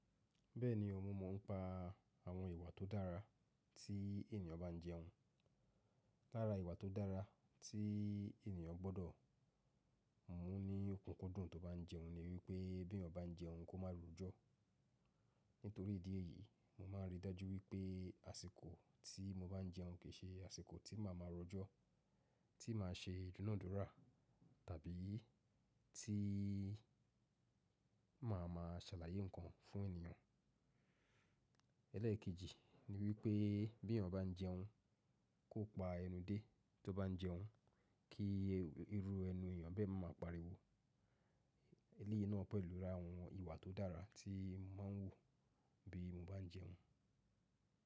Bẹ́ẹ̀ni, mo mọ̀ ọ́n pa àwọn ìwà tó dára tí ènìyàn bá ń jẹun. Lára ìwà tó dára tí ènìyàn gbọ́dọ̀ mú ní òkúnkúndùn tó bá ń jẹun ni wípé beyan bá ń jẹun kó má rujọ. Nítorí ìdí èyí, mo máa ń rí dájú wípé àsìkò tí mo bá ń jẹun kì í ṣe àsìkò tí màá ma rojọ́, tí màá ṣe idunadúrà tàbí tí màá ma ṣàlàyé ǹkan fún ènìyàn. Ẹlẹ́ẹ̀kejì ni wípé b'eeyan bá ń jẹun, kó pa ẹnu dé tó bá ń jẹun kí irú ẹnu ènìyàn bẹ́ẹ̀ máa pariwo. Eléyìí náà pẹ̀lú ra àwọn ìwà tó dára tí máa ń wù bí mo bá ń jẹun.